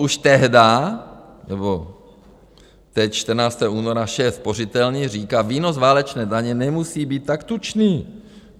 Už tehdy, nebo teď 14. února, šéf Spořitelny říká: Výnos válečné daně nemusí být tak tučný.